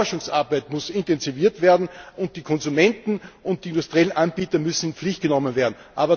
Das heißt, die Forschungsarbeit muss intensiviert werden, und die Konsumenten und die industriellen Anbieter müssen in die Pflicht genommen werden.